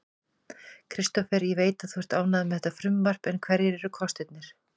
Kristófer, ég veit að þú ert ánægður með þetta frumvarp en hverjir eru kostirnir?